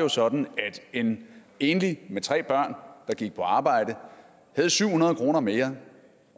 jo sådan at en enlig med tre børn der gik på arbejde havde syv hundrede kroner mere